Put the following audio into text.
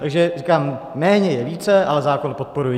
Takže říkám, méně je více, ale zákon podporuji.